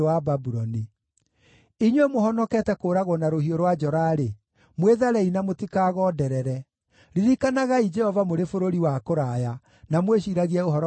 Inyuĩ mũhonokete kũũragwo na rũhiũ rwa njora-rĩ, mwĩtharei na mũtikagonderere! Ririkanagai Jehova mũrĩ bũrũri wa kũraya, na mwĩciiragie ũhoro wa Jerusalemu.”